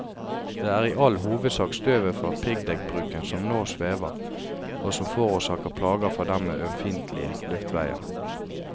Det er i all hovedsak støvet fra piggdekkbruken som nå svever, og som forårsaker plager for dem med ømfintlige luftveier.